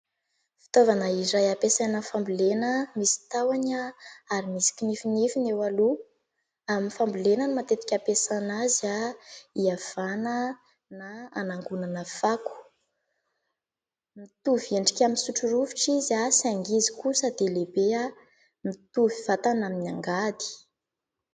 Fitaovana iray ampiasa aminy fambolena misy tahony ary misy kinifinifiny eo aloha, amin'ny fambolena no matetika hampiasana azy hiavana na anangonana fako. Mitovy endrika amin'ny sotro rovitra izy saingy izy kosa dia lehibe mitovy vatana amin'ny angady.